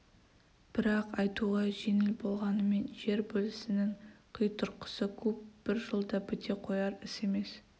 бірақ айтуға жеңіл болғанмен жер бөлісінің қитұрқысы көп бір жылда біте қояр іс емес